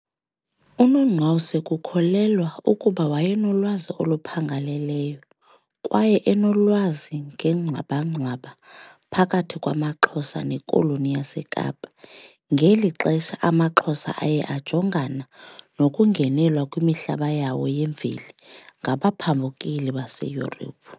UNongqawuse kukholelwa ukuba wayenolwazi oluphangaleleyo kwaye enolwazi ngengxwabangxwaba phakathi kwamaXhosa neKoloni yaseKapa .. Ngeli xesha, amaXhosa aye ajongana nokungenelwa kwimihlaba yawo yemveli ngabaphambukeli baseYurophu.